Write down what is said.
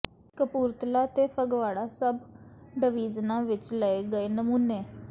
ਕਪੂਰਥਲਾ ਤੇ ਫਗਵਾੜਾ ਸਬ ਡਵਿਜ਼ਨਾਂ ਵਿਚ ਲਏ ਗਏ ਨਮੂਨੇ